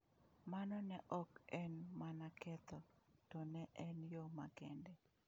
Mano ne ok en mana ketho, to ne en yo makende.